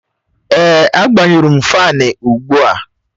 Èè, agbanyụrụ faani ugbu a